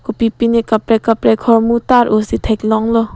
kopipi ne kaprek kaprek ahormu tar o si theklong lo.